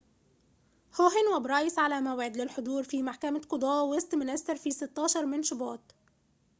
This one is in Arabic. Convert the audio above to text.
هوهن وبرايس على موعد للحضور في محكمة قضاة ويستمينستر في 16 من شباط